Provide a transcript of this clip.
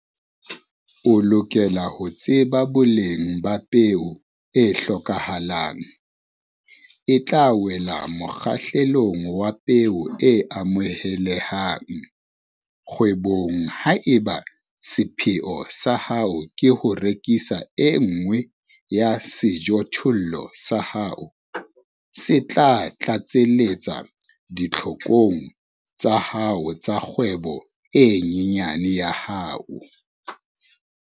O lokela ho tseba boleng ba peo e hlokahalang, e tla wela mokgahlelong wa peo e amohelehang kgwebong haeba sepheo sa hao ke ho rekisa e nngwe ya sejothollo sa hao se tla tlatseletsa ditlhokong tsa hao tsa kgwebo e nyane ya hao.